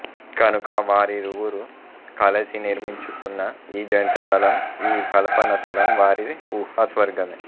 కనుక వారిరువురు కలసి నిర్మించుకున్న ఈ జంట తలం ఈ కల్పన తలం వారి ఊహా స్వర్గమే